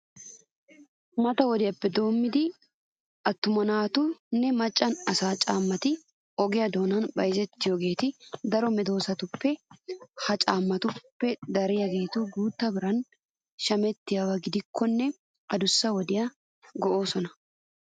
Mata wodiyappe doommidi atummanne macca asaa caammati oge doonan bayzettiyogee daroti meezetidoba. Ha caammatuppe dariyageeti guutta biran shamettiyaba gidikkonne adussa wodiyassi go"oosona.